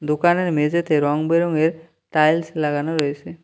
দোকানের মেঝেতে রংবেরঙের টাইলস লাগানো রয়েসে।